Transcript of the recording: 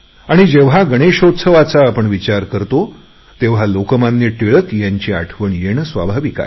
जेव्हा गणेशोत्सवाचा आपण विचार करतो तेव्हा लोकमान्य टिळक यांची आठवणे येणे स्वाभाविक आहे